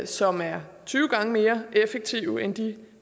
som er tyve gange mere effektive end de